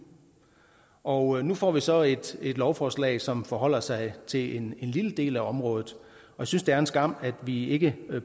og nu får vi så et lovforslag som forholder sig til en lille del af området jeg synes det er en skam at vi ikke